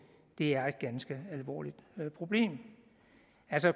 er et ganske alvorligt problem